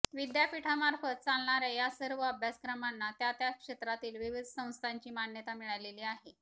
विद्यापीठामार्फत चालणाऱ्या या सर्व अभ्यासक्रमांना त्या त्या क्षेत्रातील विविध संस्थांची मान्यता मिळालेली आहे